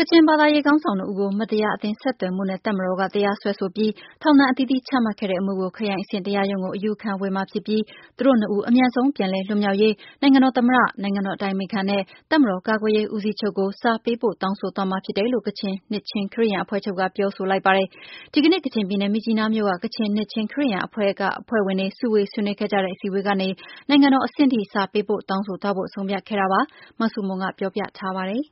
ကချင်ဘာသာရေးခေါင်းဆောင်နှစ်ဦးကို မတရားအသင်းဆက်သွယ်မှုနဲ့ တပ်မတော်က တရားစွဲဆိုပြီး ထောင်ဒဏ်အသီးသီးချမှတ်ခဲ့တဲ့အမှုကို ခရိုင်အဆင့်တရားရုံးကို အယူခံဝင်မှာဖြစ်ပြီး သူတို့နှစ်ဦး အမြန်ဆုံးပြန်လည် လွတ်မြောက်ရေး နိုင်ငံတော်သမ္မတ၊ နိုင်ငံတော်အတိုင်ပင်ခံနဲ့ တပ်မတော်ကာကွယ်ရေးဦးစီးချုပ်ကို စာပေးပို့တောင်းဆိုသွားမှာဖြစ်တယ်လို့ ကချင်နှစ်ခြင်းခရစ်ယာန်အဖွဲ့ချုပ်က ပြောဆိုလိုက်ပါတယ်။ ဒီကနေ့ ကချင်ပြည်နယ် မြစ်ကြီးနားမြို့က ကချင်နှစ်ခြင်းခရစ်ယာန်အဖွဲ့ချုပ်အဖွဲ့ဝင်တွေ စုဝေးဆွေးနွေးခဲ့ကြတဲ့ အစည်းအဝေးကနေ နိုင်ငံတော်အဆင့်အထိ စာပေးပို့တောင်းဆိုသွားဖို့ ဆုံးဖြတ်ခဲ့ကြတာပါ။ အသေးစိတ် မဆုမွန် ဆက်ပြောပြပါမယ်။